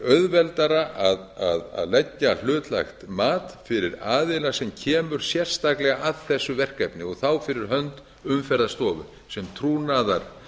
auðveldara að leggja hlutlægt mat fyrir aðila sem kemur sérstaklega að þessu verkefni og fyrir hönd umferðarstofu sem trúnaðarlæknir til að